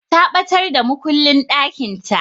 Ta ɓatar da makullin ɗakinta.